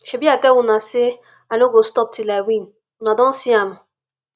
shebi i tell una say i no go stop till i win una don see am